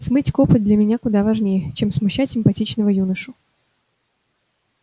смыть копоть для меня куда важнее чем смущать симпатичного юношу